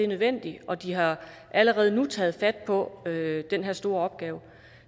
nødvendigt og de har allerede nu taget fat på den her store opgave